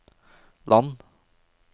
land